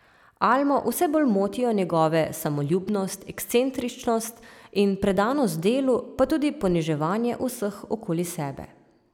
Almo vse bolj motijo njegove samoljubnost, ekscentričnost in predanost delu pa tudi poniževanje vseh okoli sebe.